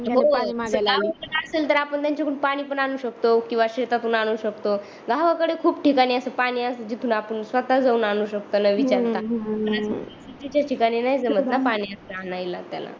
हो पाणी मांगायला आली ते पाणी पण आणू शकतो किंवा शेतातून आणू शकतो गावाकडे खूप ठिकाणी अस पाणी अस जिथून आपण स्वतः जाऊन आणू शकतो न विचारता सिटीच्या ठिकाणी नाही जमत ना पाणी अस आणायला त्याला